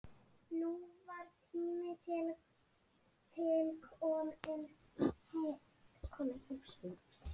Æfingar hafa gengið mjög vel.